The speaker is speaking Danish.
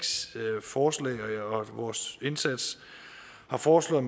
forslag og vores indsats har foreslået